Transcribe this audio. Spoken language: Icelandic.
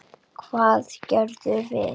Hvað gerðum við?